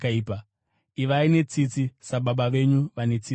Ivai netsitsi sababa venyu vane tsitsi.